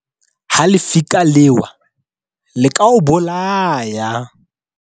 Ha lefika le ewa le ka o bolaya.